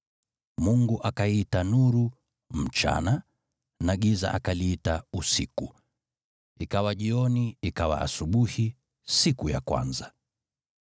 Mungu akaiita nuru “mchana,” na giza akaliita “usiku.” Ikawa jioni, ikawa asubuhi, siku ya kwanza.